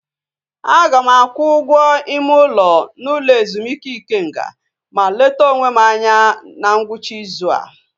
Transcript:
Aga m akwụ ụgwọ ime ụlọ n'ụlọ ezumike Ikenga ma leta onwe m anya na ngwụcha ịzụ a